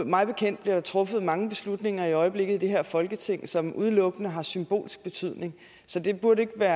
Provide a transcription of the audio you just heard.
mig bekendt bliver der truffet mange beslutninger i øjeblikket i det her folketing som udelukkende har symbolsk betydning så det burde ikke